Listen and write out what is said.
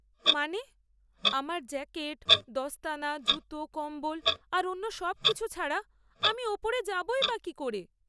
মানে, আমার জ্যাকেট, দস্তানা, জুতো, কম্বল আর অন্য সবকিছু ছাড়া, আমি ওপরে যাবই বা কী করে?